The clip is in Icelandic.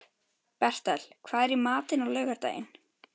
Bertel, hvað er í matinn á laugardaginn?